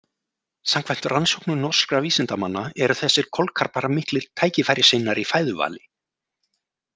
Samkvæmt rannsóknum norskra vísindamanna eru þessir kolkrabbar miklir tækifærissinnar í fæðuvali.